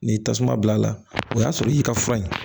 N'i y'i tasuma bila a la o y'a sɔrɔ i y'i ka fura ye